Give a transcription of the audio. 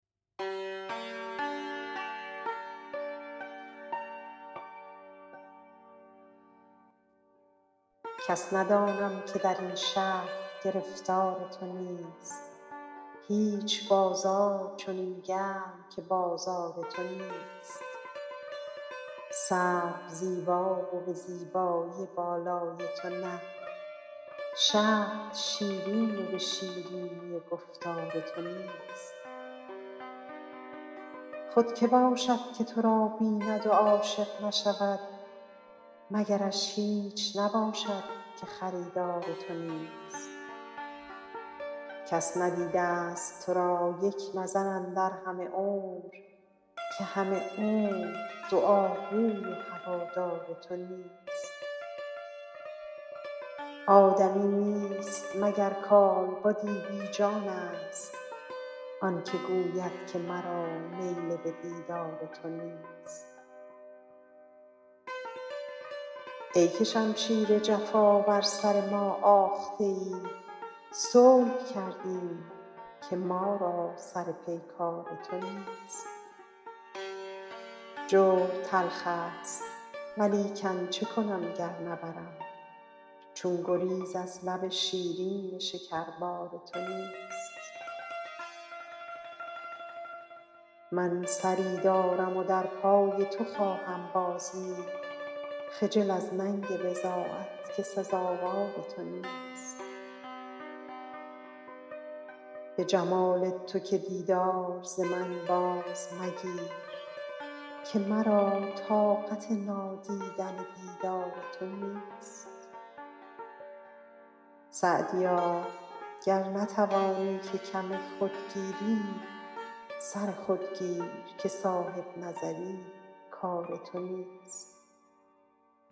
کس ندانم که در این شهر گرفتار تو نیست هیچ بازار چنین گرم که بازار تو نیست سرو زیبا و به زیبایی بالای تو نه شهد شیرین و به شیرینی گفتار تو نیست خود که باشد که تو را بیند و عاشق نشود مگرش هیچ نباشد که خریدار تو نیست کس ندیده ست تو را یک نظر اندر همه عمر که همه عمر دعاگوی و هوادار تو نیست آدمی نیست مگر کالبدی بی جانست آن که گوید که مرا میل به دیدار تو نیست ای که شمشیر جفا بر سر ما آخته ای صلح کردیم که ما را سر پیکار تو نیست جور تلخ ست ولیکن چه کنم گر نبرم چون گریز از لب شیرین شکربار تو نیست من سری دارم و در پای تو خواهم بازید خجل از ننگ بضاعت که سزاوار تو نیست به جمال تو که دیدار ز من باز مگیر که مرا طاقت نادیدن دیدار تو نیست سعدیا گر نتوانی که کم خود گیری سر خود گیر که صاحب نظر ی کار تو نیست